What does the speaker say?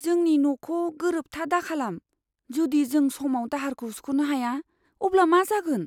जोंनि न'खौ गोरोबथा दाखालाम। जुदि जों समाव दाहारखौ सुख'नो हाया, अब्ला मा जागोन?